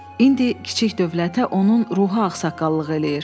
İndi kiçik dövlətə onun ruhi ağsaqqallıq eləyir.